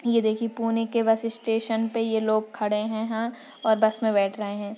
ये देखिये पुणेके बस स्टेशन पे ये लोग खड़े है। ह और बस मे बेठ रहे है।